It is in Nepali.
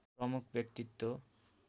प्रमुख व्यक्तित्व